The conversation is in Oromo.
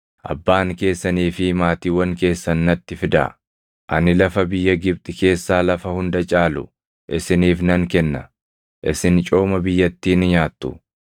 abbaan keessanii fi maatiiwwan keessan natti fidaa. Ani lafa biyya Gibxi keessaa lafa hunda caalu isiniif nan kenna. Isin cooma biyyattii ni nyaattu.’